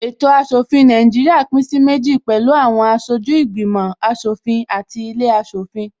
Ètò aṣòfin Nàìjíríà pín sí méjì pẹ̀lú àwọn aṣojú ìgbìmò aṣòfin àti ilé aṣòfin